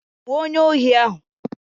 Gbuo onyeohi ahụ!